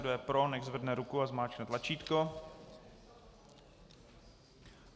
Kdo je pro, nechť zvedne ruku a zmáčkne tlačítko.